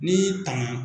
N'i y'i tanga